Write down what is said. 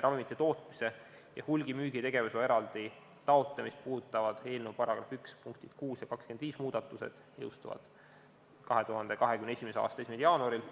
Ravimite tootmise ja hulgimüügi tegevusloa eraldi taotlemist puudutavad eelnõu § 1 punktid 6 ja 25 muudatused jõustuvad 2021. aasta 1. jaanuaril